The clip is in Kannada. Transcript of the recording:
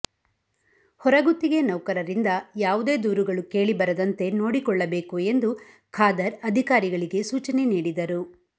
ಹೊರಗುತ್ತಿಗೆ ನೌಕರರಿಂದ ಯಾವುದೇ ದೂರುಗಳು ಕೇಳಿ ಬರದಂತೆ ನೋಡಿಕೊಳ್ಳಬೇಕು ಎಂದು ಖಾದರ್ ಅಧಿಕಾರಿಗಳಿಗೆ ಸೂಚನೆ ನೀಡಿದರು